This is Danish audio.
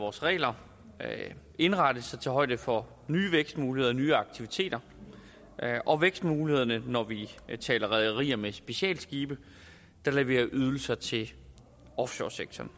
vores regler indrettes så de tager højde for nye vækstmuligheder og nye aktiviteter og vækstmulighederne når vi taler rederier med specialskibe der leverer ydelser til offshoresektoren